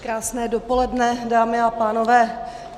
Krásné dopoledne, dámy a pánové.